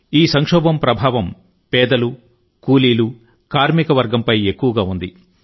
ఈ సంక్షోభం ప్రభావం పేదలు కూలీలు కార్మికవర్గంపై ఎక్కువగా ఉంది